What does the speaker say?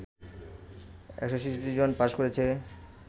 ১৬৬ জন পাস করেছে